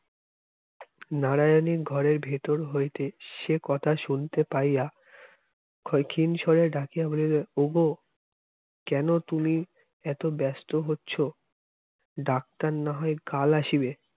নারায়ানি ঘরের ভেতর হইতে সে কথা শুনতে পাইয়া ক্ষয়ক্ষীন সরে ডাকিয়া বলিল ওগো কেন তুমি এত ব্যস্ত হচ্ছ ডাক্তার না হয় কাল আসিবে